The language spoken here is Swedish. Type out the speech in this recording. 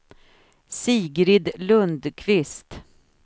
Sigrid Lundqvist